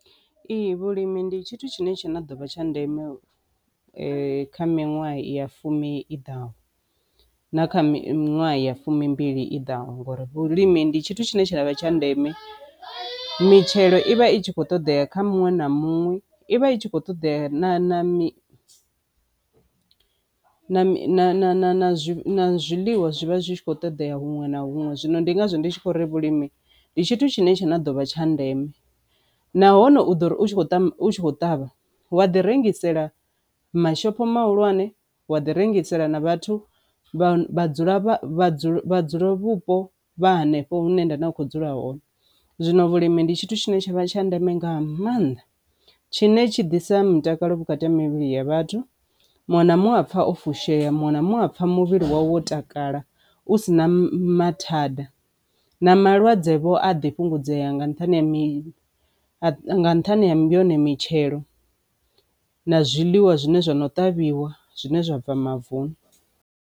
Ee, vhulimi ndi tshithu tshine tsha dovha tsha ndeme kha miṅwaha ya fumi i ḓaho na kha miṅwaha ya fumbili i ḓaho ngori vhulimi ndi tshithu tshine tshavha tsha ndeme mitshelo ivha i tshi kho ṱoḓea kha muṅwe na muṅwe. I vha i tshi kho ṱoḓea na zwiḽiwa zwivha zwi tshi kho ṱoḓea huṅwe na huṅwe, zwino ndi ngazwo ndi tshi khou ri vhulimi ndi tshithu tshine tsha dovha tsha ndeme nahone u ḓo uri u kho tea u ṱavha wa ḓi rengisela mashopho mahulwane wa ḓi rengisela na vhathu vha dzula vha dzula vhupo vha hanefho hune nda kho dzula hone. Zwino vhulimi ndi tshithu tshine tshavha tsha ndeme nga maanḓa tshine tshi ḓisa mutakalo vhukati mivhili ya vhathu muṅwe na muṅwe a pfa o fushea muṅwe na muṅwe a apfha muvhili wawe wo takala u si na maḓi thanda na malwadze vho a ḓi fhungudzea nga nṱhani ha mavhone mitshelo na zwiḽiwa zwine zwa no ṱavhiwa zwine zwa bva mavuni.